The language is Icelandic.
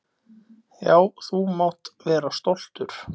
Já, þú mátt vera stoltur.